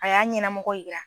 A y'a ɲɛnamɔgɔ yira.